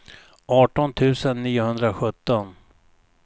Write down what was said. arton tusen niohundrasjutton